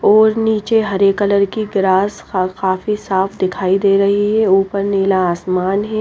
और नीचे हरे कलर की ग्रास का काफी साफ दिखाई दे रही है ऊपर नीला आसमान हैं।